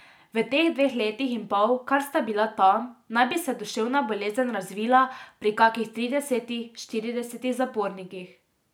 V teh dveh letih in pol, kar sta bila tam, naj bi se duševna bolezen razvila pri kakih tridesetih, štiridesetih zapornikih.